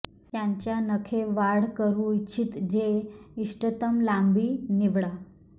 त्यांच्या नखे वाढ करू इच्छित जे इष्टतम लांबी निवडा